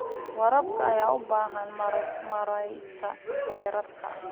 Waraabka ayaa u baahan maaraynta kheyraadka.